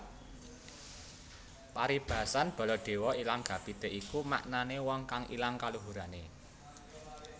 Paribasan Baladéwa ilang gapité iku maknané wong kang ilang kaluhurané